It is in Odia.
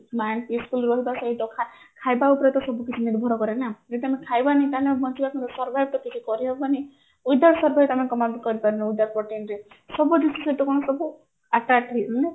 ଖାଇବା ଉପରେ ତ ସବୁକିଛି ନିର୍ଭର କରେ ନା ଯଦି ଆମେ ଖାଇବାଣୀ ତାହାଲେ ଆମେ ବଞ୍ଚିବା କେମତି survive ତ କିଛି କରିହବନି without